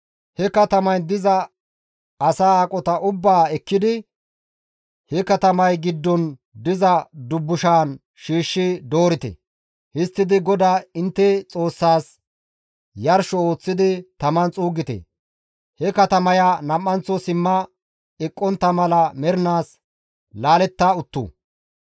He katamayn diza asaa aqota ubbaa ekkidi he katamay giddon diza dubbushan shiishshi doorite; histtidi GODAA intte Xoossaas yarsho ooththidi taman xuuggite; he katamaya nam7anththo simma eqqontta mala mernaas laaletta attu.